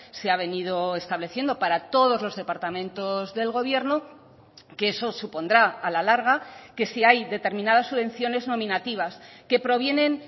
se ha venido estableciendo para todos los departamentos del gobierno que eso supondrá a la larga que si hay determinadas subvenciones nominativas que provienen